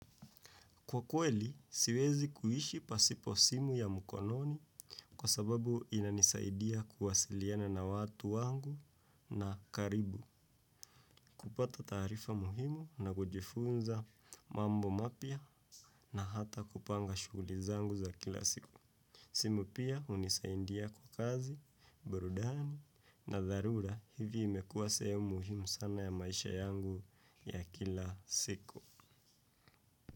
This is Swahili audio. Kwa kweli, siwezi kuishi pasipo simu ya mukononi kwa sababu inanisaidia kuwasiliana na watu wangu na karibu kupata taarifa muhimu na kujifunza mambo mapya na hata kupanga shugulizangu za kila siku. Simu pia unisaindia kwa kazi, burudani na dharura hivi imekuwa sehemu muhimu sana ya maisha yangu ya kila siku.